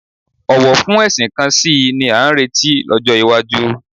Ọ̀wọ̀ fún ẹ̀sìn kan sí i ni a ń retí lọ́jọ́ iwájú